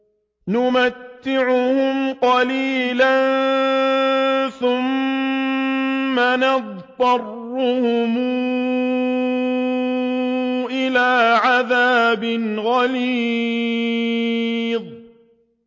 نُمَتِّعُهُمْ قَلِيلًا ثُمَّ نَضْطَرُّهُمْ إِلَىٰ عَذَابٍ غَلِيظٍ